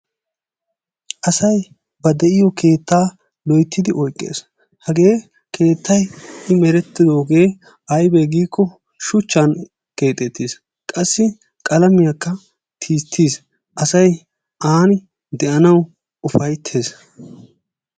Asay ba de'iyo keettaa loyttidi oyqqees. Hagee keettay i merettidoogee aybee giikko shuchchan keexxetiis. Qassi qalamiyakka tisttiis. Asay aani de'anawu ufayttees.